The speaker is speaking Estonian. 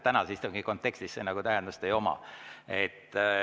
Tänase istungi kontekstis see nagu tähendust ei oma.